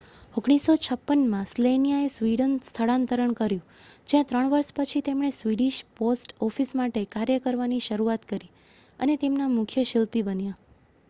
1956માં સ્લેનિયાએ સ્વીડન સ્થળાંતર કર્યું જ્યાં ત્રણ વર્ષ પછી તેમણે સ્વીડિશ પોસ્ટ ઑફિસ માટે કાર્ય કરવાની શરૂઆત કરી અને તેમના મુખ્ય શિલ્પી બન્યા